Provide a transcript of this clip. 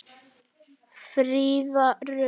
Fríða Rut.